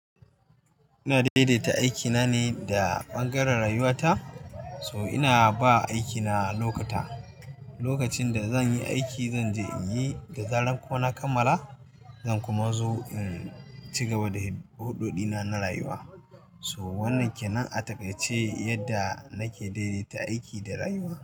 Ina daidaita aikina ne da ɓangaren rayuwata, so ina ba aiki na lokuta. Lokacin da zan yi aiki, zan je in yi da zarar kuma na kamala zan kuma zo in cigaba da huɗoɗi na, na rayuwa. So wannan ke nan a taƙaice yadda nake daidaita aiki da rayuwa.